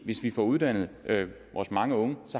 hvis vi får uddannet vores mange unge